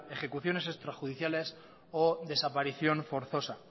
ejecuciones extrajudiciales o desaparición forzosa